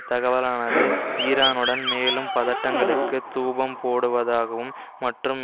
தகவலானது ஈரானுடன் மேலும் பதட்டங்களுக்கு தூபம் போடுவதாகவும் மற்றும்